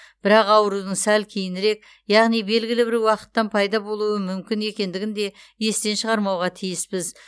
бірақ аурудың сәл кейінірек яғни белгілі бір уақыттан пайда болуы мүмкін екендігін де естен шығармауға тиіспіз